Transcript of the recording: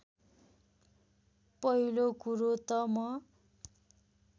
पहिलो कुरो त म